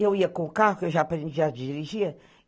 Eu ia com o carro, que eu já aprendia a dirigir.